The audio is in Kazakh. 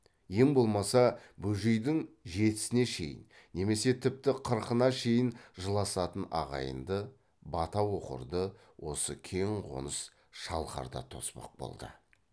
ең болмаса бөжейдің жетісіне шейін немесе тіпті қырқына шейін жыласатын ағайынды бата оқырды осы кең қоныс шалқарда тоспақ болды